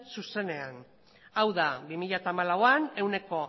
zuzenean hau da bi mila hamalauan ehuneko